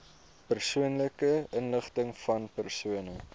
persoonlike inligtingvan persone